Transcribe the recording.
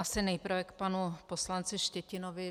Asi nejprve k panu poslanci Štětinovi.